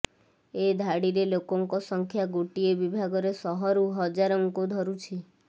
ଏ ଧାଡିରେ ଲୋକଙ୍କ ସଂଖ୍ୟା ଗୋଟିଏ ବିଭାଗରେ ଶହରୁ ହଜାରଙ୍କୁ ଧରୁଛି